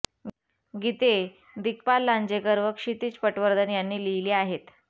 गीते दिग्पाल लांजेकर व क्षितीज पटवर्धन यानी लिहिली आहेत